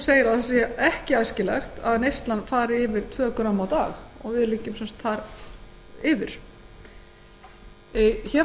segir að ekki sé æskilegt að neyslan fari yfir tvö grömm á dag og við liggjum sem sagt þar yfir hér á